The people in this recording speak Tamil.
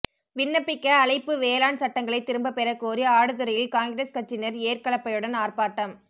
விண்ணப்பிக்க அழைப்பு வேளாண் சட்டங்களை திரும்பபெற கோரி ஆடுதுறையில் காங்கிரஸ் கட்சியினர் ஏர்கலப்பையுடன் ஆர்ப்பாட்டம்